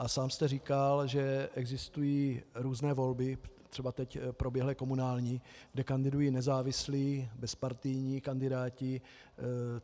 A sám jste říkal, že existují různé volby, třeba teď proběhlé komunální, kde kandidují nezávislí bezpartijní kandidáti.